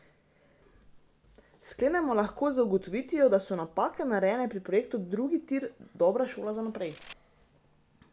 Sklenemo lahko z ugotovitvijo, da so napake, narejene pri projektu drugi tir, dobra šola za naprej.